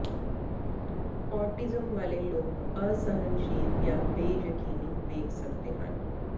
autism ਵਾਲੇ ਲੋਕ ਅਸਹਿਣਸ਼ੀਲ ਜਾਂ ਬੇਯਕੀਨੀ ਵੇਖ ਸਕਦੇ ਹਨ